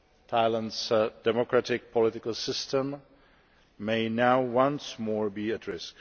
Thailand's democratic political system may now once more be at risk.